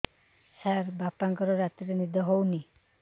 ସାର ବାପାଙ୍କର ରାତିରେ ନିଦ ହଉନି